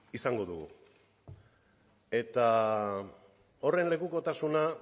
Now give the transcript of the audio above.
izango dugu eta horren lekukotasuna